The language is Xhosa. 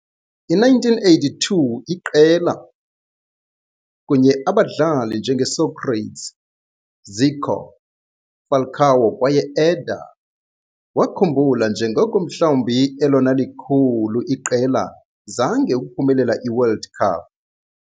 I - 1982 iqela, kunye abadlali njenge Sócrates, Zico, Falcão kwaye Éder, wakhumbula njengoko mhlawumbi elona likhulu iqela zange ukuphumelela i-World Cup.